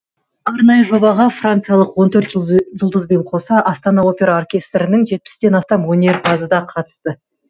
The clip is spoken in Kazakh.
арнайы жобаға франциялық он төрт жұлдызбен қоса астана опера оркестрінің жетпістен астам өнерпазы да қатысты